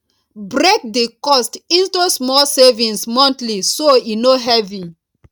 break the cost into small savings monthly so e no heavy